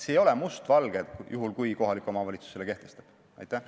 See ei ole mustvalge, juhul kui kohalik omavalitsus selle piirangu kehtestab.